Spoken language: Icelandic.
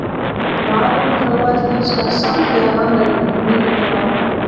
Maðurinn þróaðist hins vegar samhliða mannöpum um milljónir ára.